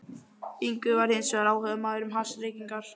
Ingvi var hins vegar áhugamaður um hassreykingar.